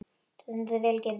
Þú stendur þig vel, Gyrðir!